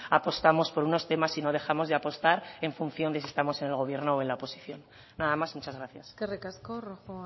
apostamos por unos temas y no dejamos de apostar en función de si estamos en el gobierno o en la oposición nada más y muchas gracias eskerrik asko rojo